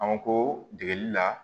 An ko degeli la